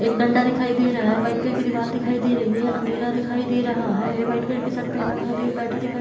एक डंडा दिखाई दे रहा हैवाइट कलर की दीवाल दिखाई दे रही हैअँधेरा दिखाई दे रहा हैवाइट कलर की शर्ट पहना बैठा दिखाई--